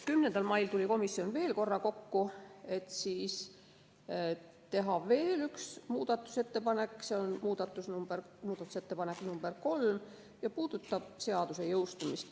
10. mail tuli komisjon veel korra kokku, et teha veel üks muudatusettepanek, s.o muudatusettepanek nr 3 ja see puudutab seaduse jõustumist.